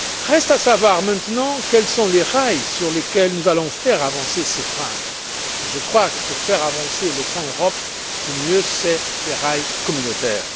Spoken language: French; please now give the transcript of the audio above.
Reste à savoir maintenant quels sont les rails sur lesquels nous allons faire avancer ce train et je crois que pour faire avancer le train de l'Europe, le mieux ce sont des rails communautaires.